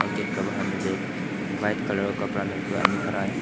Gate के बाहर में एक वाइट कलर के कपड़ा में एक आदमी खड़ा है।